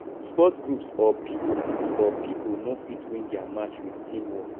sport groups or pipo groups or pipo no fit win their match with teamwork